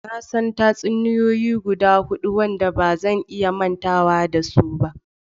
Na san tatsuniyoyi guda hudu wadanda ba zan iya mantawa da su ba.